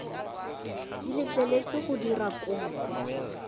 di letleletsweng go dira kopo